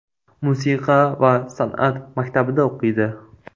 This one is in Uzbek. Musiqa va san’at maktabida o‘qiydi.